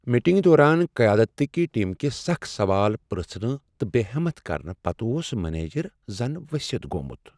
میٹنگہ دوران قیادتٕکۍ ٹیم کہ سخ سوال پرژھنہٕ تہٕ بےٚ ہمت کرنہ پتہٕ اوس منیجر زن ؤستھ گوٚمت۔